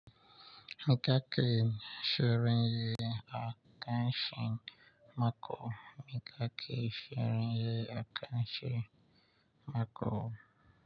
Me kake shirin yi a karshen mako? Me kake shirin yi akarshen mako?